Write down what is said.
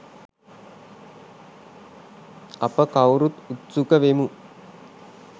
අප කවුරුත් උත්සුක වෙමු